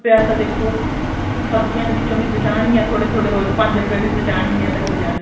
ਸੋ ਰੁਪਿਆ ਤਾਂ ਦੇਖੋ ਸਬਜੀਆਂ ਦੇ ਵਿੱਚੋ ਵੀ ਬਚਾਨ ਗਿਆ ਥੋੜੇ ਥੋੜੇ ਰੋਜ਼ ਪੰਜ ਰੁਪੇ ਵੀ ਬਚਾਨ ਗਿਆ ਤਾਂ ਹੋ ਜਾਣਗੇ